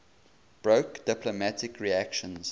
broke diplomatic relations